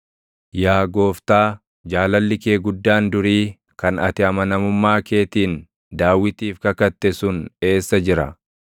Yaa Gooftaa, jaalalli kee guddaan durii kan ati amanamummaa keetiin Daawitiif kakatte sun eessa jira?